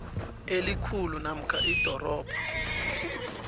elikhulu namkha idorobha